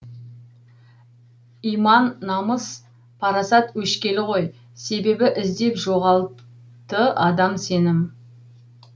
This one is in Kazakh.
иман намыс парасат өшкелі ғой себебі іздеп жоғалты адам сенім